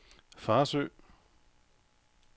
Farsø